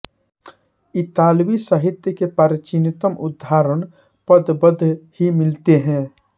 इतालवी साहित्य के प्राचीनतम उदाहरण पद्यबद्ध ही मिलते हैं